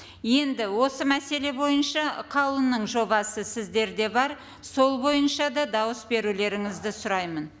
енді осы мәселе бойынша қаулының жобасы сіздерде бар сол бойынша да дауыс берулеріңізді сұраймын